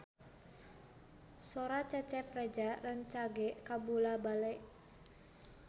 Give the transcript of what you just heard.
Sora Cecep Reza rancage kabula-bale